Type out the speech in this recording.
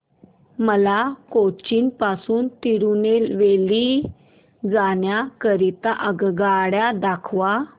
मला कोचीन पासून तिरूनेलवेली जाण्या करीता आगगाड्या दाखवा